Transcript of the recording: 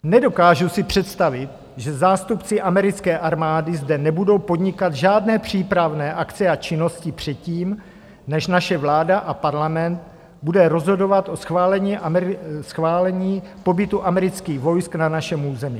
Nedokážu si představit, že zástupci americké armády zde nebudou podnikat žádné přípravné akce a činnosti předtím, než naše vláda a Parlament budou rozhodovat o schválení pobytu amerických vojsk na našem území.